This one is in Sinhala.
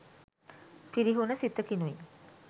පිරිහුන සිතකිනුයි.